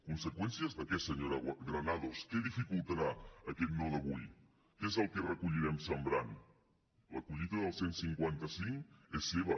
conseqüències de què senyora granados què dificultarà aquest no d’avui què és el que recollirem sembrant la collita del cent i cinquanta cinc és seva